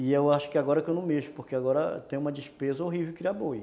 E eu acho que agora que eu não mexo, porque agora tem uma despesa horrível de criar boi.